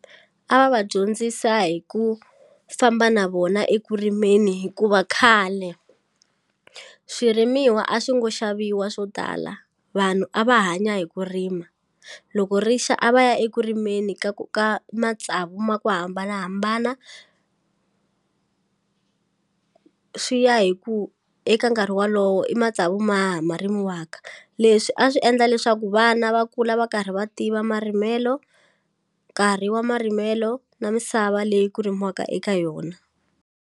A va va dyondzisa hi ku famba na vona ekurimeni hikuva khale swirimiwa a swi ngo xaviwa swo tala vanhu a va hanya hi ku rima loko rixa a va ya eku rimeni ka ku ka matsavu ma ku hambanahambana swi ya hi ku eka nkarhi walowo i matsavu ma ha ma rimiwaka leswi a swi endla leswaku vana va kula va karhi va tiva marimelo nkarhi wa marimelo na misava leyi ku rimiwaka eka yona.